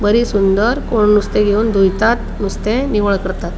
बरी सुंदर कोण नुस्ते घेवन दोरतात नुस्ते निवळ करतात.